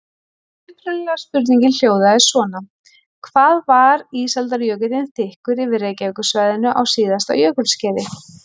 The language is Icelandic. Upprunalega spurningin hljóðaði svona: Hvað var ísaldarjökullinn þykkur yfir Reykjavíkursvæðinu á síðasta jökulskeiði?